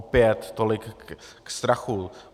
Opět tolik k strachu.